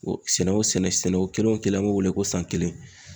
Sɛnɛ o sɛnɛ sɛnɛ o kelen o kelen an b'o wele ko san kelen.